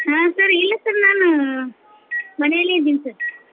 ಹಾ sir ಇಲ್ಲ sir ನಾನು ಮನೇಲೆ ಇದೀನ್ sir .